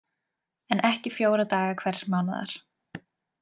En ekki fjóra daga hvers mánaðar.